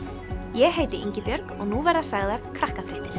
ég heiti Ingibjörg og nú verða sagðar